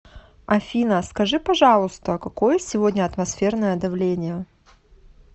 афина скажи пожалуйста какое сегодня атмосферное давление